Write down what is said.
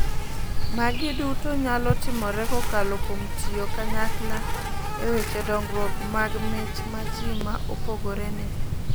Magi duto nyalo timore kokalo kuom tiyo kanyakla e weche dong'ruok mag mich ma ji ma opogore ni go.